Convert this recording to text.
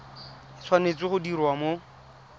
e tshwanetse go diriwa mo